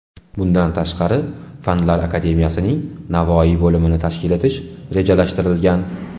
Bundan tashqari, Fanlar akademiyasining Navoiy bo‘limini tashkil etish rejalashtirilgan .